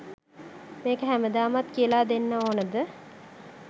මේක හැමදාමත් කියලා දෙන්න ඕනෙද?